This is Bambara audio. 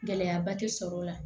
Gɛlɛyaba tɛ sɔrɔ o la